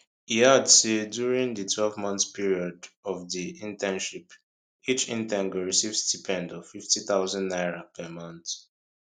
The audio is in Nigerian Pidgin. e add say during di 12month period of di internship each intern go receive stipend of 50000 naira per month